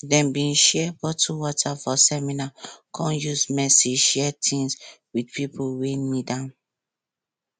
dem share bottle water for summer come use mercy share things with pipo wey need am